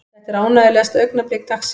Þetta er ánægjulegasta augnablik dagsins.